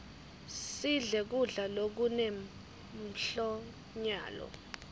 sidle kudla lokune mphlonyalo